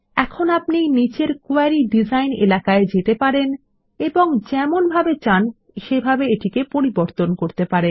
এখন আপনি নীচের কোয়েরি ডিজাইন এলাকায় যেতে পারেন এবং যেমনভাবে চান সেভাবে এটিকে পরিবর্তন করতে পারেন